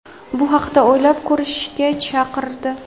bu haqda o‘ylab ko‘rishga chaqirdi.